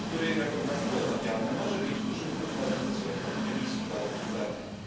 który jako paliwo odnawialne może mieć duży wpływ na redukcję emisji gazów cieplarnianych.